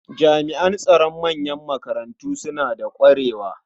Jami'an tsaro a manyan makarantu suna da ƙwarewa.